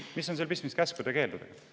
Mis on sel pistmist käskude-keeldudega?